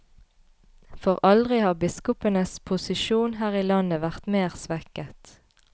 For aldri har biskopenes posisjon her i landet vært mer svekket.